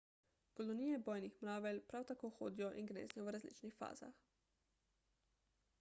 kolonije bojnih mravelj prav tako hodijo in gnezdijo v različnih fazah